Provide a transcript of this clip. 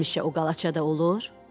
Həmişə o qalaçada olur?